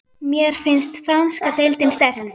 Mér finnst franska deildin sterk.